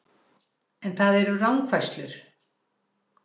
En það eru rangfærslur